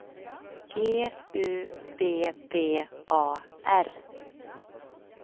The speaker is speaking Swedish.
G U B B A R